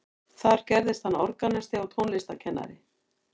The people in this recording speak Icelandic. Þar gerðist hann organisti og tónlistarkennari.